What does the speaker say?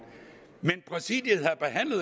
præsidiet